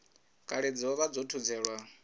kale dza vha dzo thudzelwa